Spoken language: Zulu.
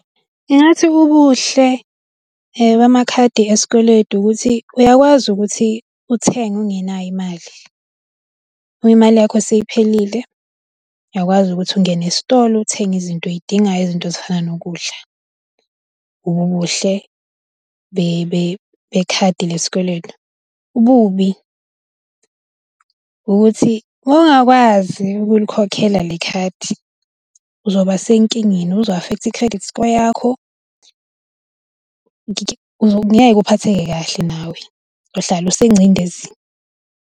Ngingathi ubuhle bamakhadi esikweletu ukuthi uyakwazi ukuthi uthenge ungenayo imali, uma imali yakho seyiphelile, uyakwazi ukuthi ungene esitolo uthenge izinto oyidingayao, izinto ezifana nokudla ubuhle be bekhadi lesikweletu. Ububi ukuthi ungakwazi ukulikhokhela le khadi uzoba senkingeni uzo-affect-a i-credit score yakho . Ngeke uphatheke kahle nawe uhlala sengcindezini.